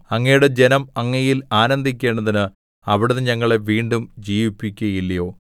അങ്ങയുടെ ജനം അങ്ങയിൽ ആനന്ദിക്കേണ്ടതിന് അവിടുന്ന് ഞങ്ങളെ വീണ്ടും ജീവിപ്പിക്കുകയില്ലയോ